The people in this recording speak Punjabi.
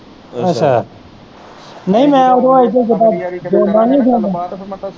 ਅੱਛਾ ਨਹੀਂ ਮੈਂ ਓਦੋਂ